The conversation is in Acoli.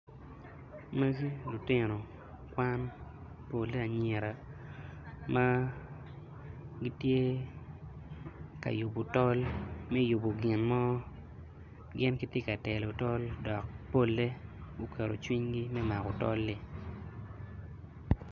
Magi lutino Kwan pole anyira ma gitye ka yubo tol me yubo gin mo gin gitye ka telo tol dok polle guketo cwinygi me maki tol-li.